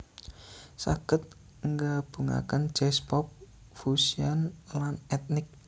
saged nggabungaken jazz pop fussion lan etnik